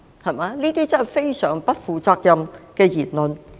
這些真的是非常不負責任的言論。